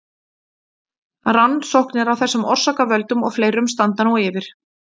rannsóknir á þessum orsakavöldum og fleirum standa nú yfir